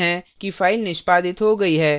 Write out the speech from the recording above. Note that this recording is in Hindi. हम देख सकते हैं कि file निष्पादित हो गई है